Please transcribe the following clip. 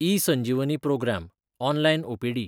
eSanjeevani programme (online OPD)